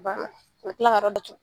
Banna ka kila ka yɔrɔ datugu.